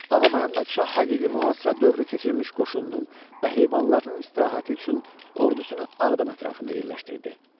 Ağaməmməd şah həqiqi mühasirə dövrü keçirmiş qoşununun və heyvanlarının istirahəti üçün ordusunu Ağdam ətrafında yerləşdirdi.